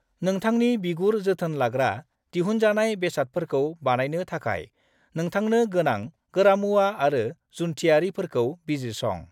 नोंथांनि बिगुर जोथोन लाग्रा दिहुनजानाय बेसादफोरखौ बानायनो थाखाय नोंथांनो गोनां गोरामुवा आरो जुनथियारिफोरखौ बिजिरसं।